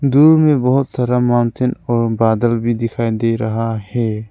दूर में बहोत सारा माउंटेन और बादल भी दिखाई दे रहा है।